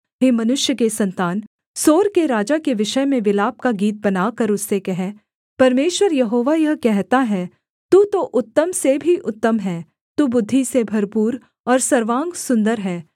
हे मनुष्य के सन्तान सोर के राजा के विषय में विलाप का गीत बनाकर उससे कह परमेश्वर यहोवा यह कहता है तू तो उत्तम से भी उत्तम है तू बुद्धि से भरपूर और सर्वांग सुन्दर है